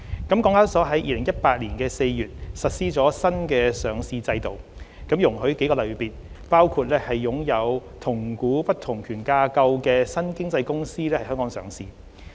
港交所在2018年4月實施了新上市制度，容許數個類別，包括擁有同股不同權架構的新經濟公司在港上市。